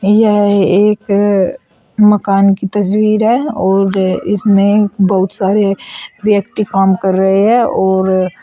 यह एक अ मकान की तस्वीर है और इसमें बहुत सारे व्यक्ति काम कर रहे हैं और--